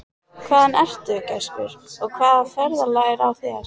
Hvaðan ertu, gæskur, og hvaða ferðalag er á þér?